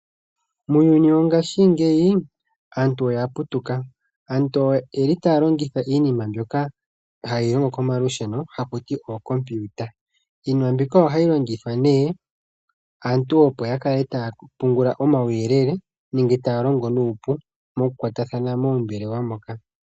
Muuyuni wongaashingeyi aantu oya putuka. Aantu oyeli taya longitha iinima mbyoka hayi longo komalusheno haku ti ookompiyuta ohayi longithwa nee aantu opo ya kale taya pungula omauyelele nenge taya longo nuupu mokukwatathana moombelewa moka.